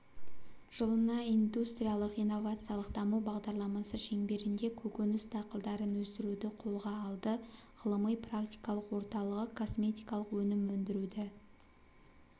жылына индустриялық-инновациялық даму бағдарламасы шеңберінде көкөніс дақылдарын өсіруді қолға алды ғылыми-практикалық орталығы косметикалық өнім өндіруді